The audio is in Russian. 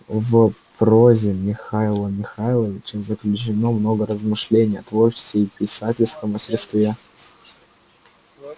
в прозе михаила михайловича заключено много размышлений о творчестве и писательском мастерстве